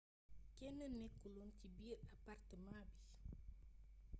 kenn nekkul oon ci biir apartamaa bi